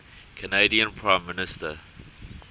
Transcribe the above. canadian prime minister